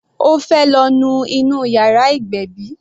Ó fẹ́ lọ nu inú yàrá ìgbébí.